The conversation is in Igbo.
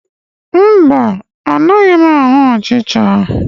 Mba, anaghị m ahụ ọchịcha